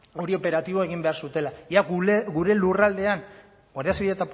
hori operatiboa egin behar zutela ea gure lurraldean